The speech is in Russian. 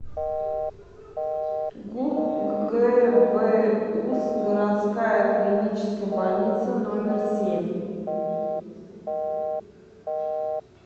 гбуз городская клиническая больница номер семь